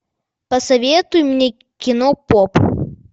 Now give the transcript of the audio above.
посоветуй мне кино поп